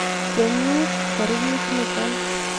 Kenyit tarikit nito.